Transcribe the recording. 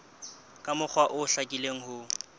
ka mokgwa o hlakileng ho